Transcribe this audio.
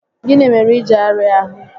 Gịnị mere iji arịa ahụ?